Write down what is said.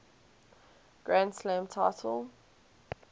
grand slam title